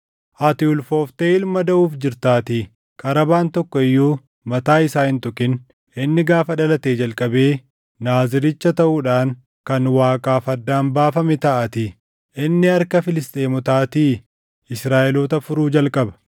ati ulfoofte ilma daʼuuf jirtaatii. Qarabaan tokko iyyuu mataa isaa hin tuqin; inni gaafa dhalatee jalqabee Naaziricha taʼuudhaan kan Waaqaaf addaan baafame taʼaatii; inni harka Filisxeemotaatii Israaʼeloota furuu jalqaba.”